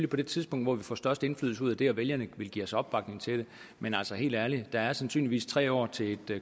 på det tidspunkt hvor vi får størst indflydelse ud af det og vælgerne vil give os opbakning til det men altså helt ærligt der er sandsynligvis tre år til et